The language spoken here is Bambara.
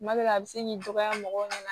Kuma dɔ la a bɛ se k'i dɔgɔya mɔgɔw ɲɛna